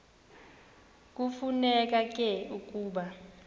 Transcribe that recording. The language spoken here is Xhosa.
kufuneka ke ukuba